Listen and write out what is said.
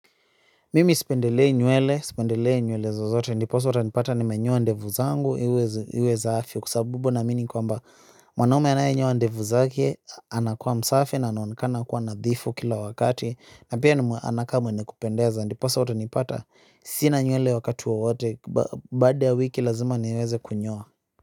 Mimi sipendelei nywele, sipendelei nywele zozote, ndiposa utanipata nimenyoa ndevu zangu, iwe zaafi, kwa sabubu naamini kwamba, mwanaume anayenyoa ndevu zake, anakuwa msafi na anaonekana kuwa nadhifu kila wakati, na pia anakaa mwenye kupendeza, ndiposa utanipata, sina nywele wakati wowote, baada ya wiki lazima niweze kunyoa.